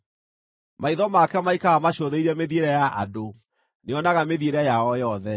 “Maitho make maikaraga macũthĩrĩirie mĩthiĩre ya andũ; nĩonaga mĩthiĩre yao yothe.